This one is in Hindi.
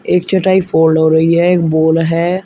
एक चटाई फोल्ड हो रही है एक बॉल है।